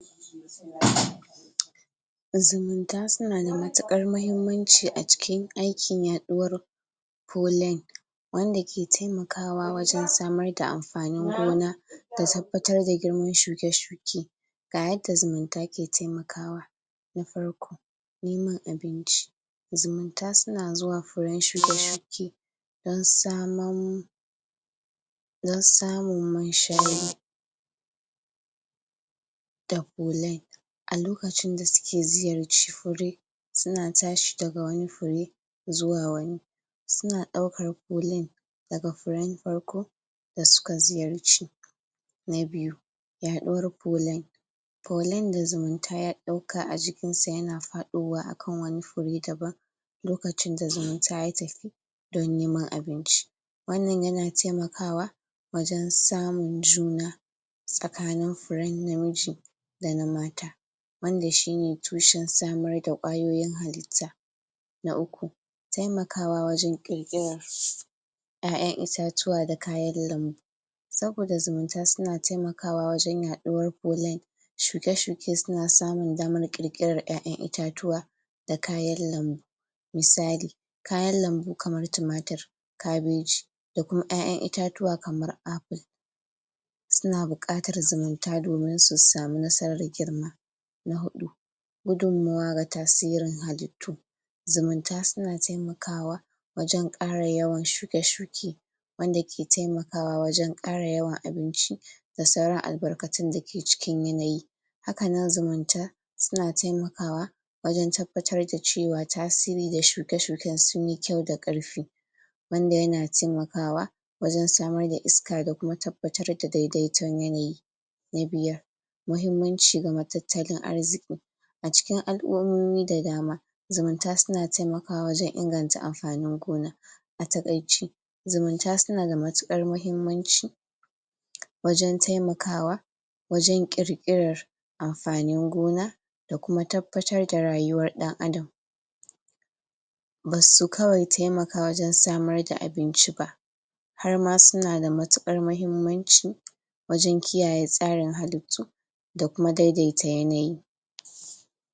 zumunta suna da matuƙar mahimmanci a ciki aikin yaɗuwar polin wanda ke taimakawa wajen samar da amfanin gona ta tabbatar da girman shuke-shuke gayadda zumunta ke taimakawa na farko niman abinci zumunta suna zuwa furen shuke-shuke dan saman don samun munshari da pulin a lokacin da suke ziyarci fure suna tashi daga wani fure zuwa wani suna ɗaukar pulin daga furen farko da suka ziyarci na biyu yaɗuwar pulin pulin da zumunta ya ɗauka a jikin sa yana faɗowa akan wani fure daban lokacin da zumunta ya tafi don neman abinci wannan yana taimakawa wajen samun juna tsakanin furen namiji dana mata wanda shine tushen samar da ƙwayoyin halitta na uku taimakwa wajen ƙirƙirar ƴaƴan itatuwa da kayan lambu saboda zumunta suna taimakwa wajen yaɗuwar pulin shuke-shuke suna samun damar ƙirƙirar ƴaƴan itatuwa da kayan lambu. misali kayan lambu kamar tumatir kabeji da kuma ƴaƴan itatuwa kamar appple suna buƙatar zumunta domin su samu nasarar girma. na huɗu gudunmawa ga tasirin halittu zumunta suna taimakawa wajen ƙara yawan shuke-shuke wanda ke taimakawa wajen ƙara yawan abinci da sauran albarkatun dake ciki n yanayi hakanan zumunta suna taimakwa wajen tabbatar da cewa tasiri da shuke-shuken sunyi kyau da ƙarfi wanda yana taimakwa wajen samar da iska da kuma tabbatar da daidaiton yanayi. na biyar mahimmanci ga matattalin arziƙi a cikin al'ummomi da dama zumunta suna taimakwa wajen inganta amfanin gona a taƙaice zumunta suna da matuƙar mahimmanci wajen taimakwa wajen ƙirƙirar amfanin gona da kuma tabbatar da rayuwar ɗan adam. basu kawai taimaka wajen samar da abinci ba harma suna da matukar mahimmanci wajen kiyaye tsarin halittu da kuma daidaita yanayi.